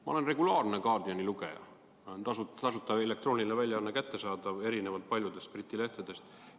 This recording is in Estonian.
Ma olen regulaarne The Guardiani lugeja, selle elektrooniline väljaanne on tasuta kättesaadav, erinevalt paljudest teistest Briti lehtedest.